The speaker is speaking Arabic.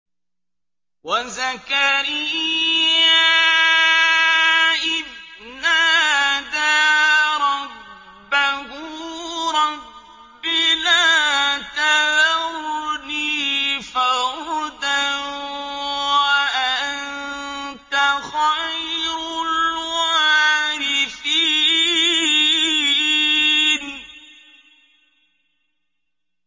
وَزَكَرِيَّا إِذْ نَادَىٰ رَبَّهُ رَبِّ لَا تَذَرْنِي فَرْدًا وَأَنتَ خَيْرُ الْوَارِثِينَ